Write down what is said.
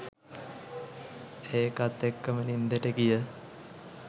ඒකත් එක්කම නින්දට ගිය